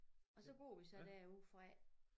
Og så går vi så derude fra